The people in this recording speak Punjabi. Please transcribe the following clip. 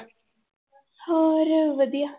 ਹੋਰ ਵਧੀਆ।